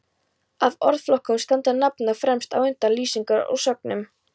Af orðflokkunum standa nafnorð fremst, á undan lýsingarorðum og sögnum.